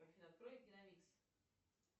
афина открой киномикс